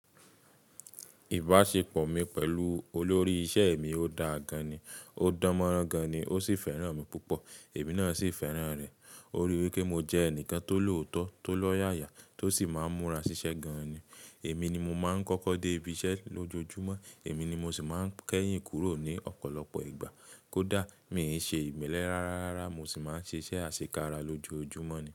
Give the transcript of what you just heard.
Ìbáṣepọ̀ mi pẹ̀lú olórí iṣẹ́ mi o dáa gan ni, ó dánmọ́rán gan ni, ó sì fẹ́ràn mi púpọ̀, èmi náà sì fẹ́ràn rẹ̀. Ó rí wí pé mo jẹ́ ẹnìkan tó lòótọ́, tó lọ́yàyà tó sì má ń múra ṣiṣẹ́ gan ni. Èmi ni mo máa ń kọ́kọ́ dé ibiṣẹ́ lójoojúmọ́, èmi ni mo sì má ń kẹ́yìn kúrò ní ọ̀pọ̀lọpọ̀ ìgbà. Kódà mi ò n ṣe ìmelẹ rárá, mo sì máa ń ṣe iṣẹ́ àṣekára lójoojúmọ́ ni.